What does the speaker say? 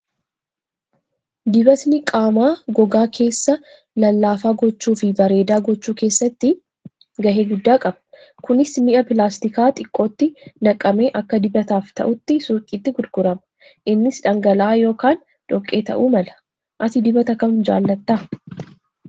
Dibatni qaamaa gogaa keessa lallaafaa gochuu fi bareedaa gochuu keessatti gahee guddaa qaba. Kunis mi'a pilaastikaa xiqqootti naqamee akka dibataaf ta'utti suuqiitti gurgurama. Innis dhangala'aa yookaan dhoqqee ta'uu mala. Ati dibata kam jaallatta?